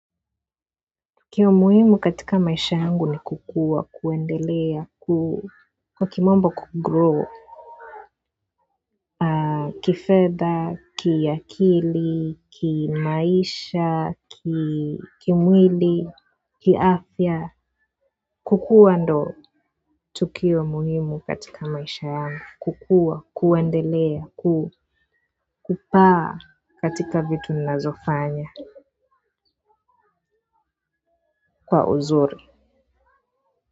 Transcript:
Kiu muhimu katika maisha yangu ni kukua, kuendelea, kwa kimombo kugrow kifedha, kiakili, kimaisha, kimwili, kifya, kukua ndo tukio muhimu katika maisha yangu kukua, kuendelea, kupaa katika vitu ninazofanya kwa uzuri.